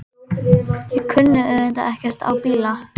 Ég kunni auðvitað ekkert á bíla.